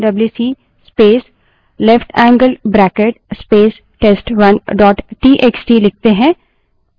अब यदि हम WC space left handed bracket space test1 dot TXT wc space leftangled bracket space test1 dot txt लिखते हैं